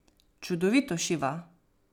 Čudovito šiva.